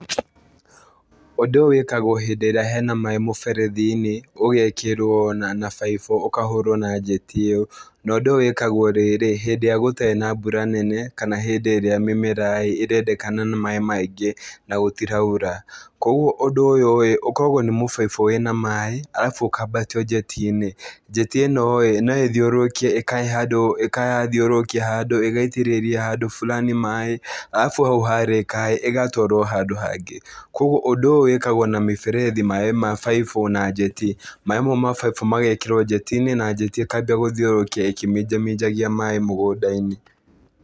Ũndũ ũyũ wĩkagwo hĩndĩ ĩrĩa hena maĩ mũberethi-inĩ ũgekĩrwo na na baiubũ ũkahũrwo na njeti ĩyo, na ũndũ ũyũ wĩkagwo rĩrĩ, hĩndĩ ĩrĩa gũtarĩ na mbura nene, kana hĩndĩ ĩrĩa mĩmera-ĩ ĩrendekana na maĩ maingĩ na gũtiraura, kuoguo ũndũ ũyũ-ĩ, ũkoragwo nĩ mũbaibũ wĩna maĩ arabu ũkambatio njeti-inĩ, njeti ĩno-ĩ noĩthiũrũrũkie ĩkahe handũ ĩgathiũrũrũkia handũ ĩgaitĩrĩria handũ fulani maĩ, arabu hau harĩka-ĩ, ĩgatwarwo handũ hangĩ, kuoguo ũndũ ũyũ wĩkagwo na mĩberethi, maĩ ma baibũ na njeti. Maĩ mau ma baibũ magekĩrwo njeti-inĩ, na njeti ĩkambia gũtiũrũrũkia ĩkĩminjaminjagia maĩ mũgũnda-inĩ.